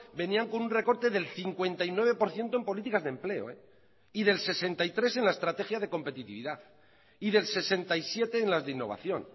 venían con un recorte del cincuenta y nueve por ciento en políticas de empleo y del sesenta y tres en la estrategia de competitividad y del sesenta y siete en las de innovación